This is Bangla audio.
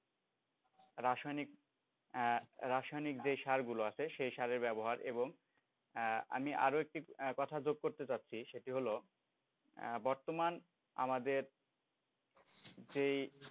রাসায়নিক রাসায়নিক যে সারগুলো আছে সেই সারের ব্যবহার এবং আমি আরও একটি কথা যোগ করতে যাচ্ছি সেটি হল বর্তমান আমাদের যেই,